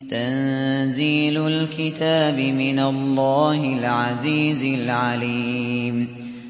تَنزِيلُ الْكِتَابِ مِنَ اللَّهِ الْعَزِيزِ الْعَلِيمِ